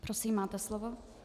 Prosím, máte slovo.